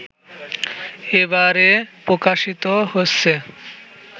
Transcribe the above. এবারে প্রকাশিত হচ্ছে